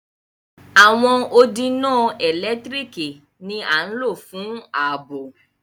Awọn òdì iná èlẹ́tiríkì ni à lọ̀ fún ààbọ̀.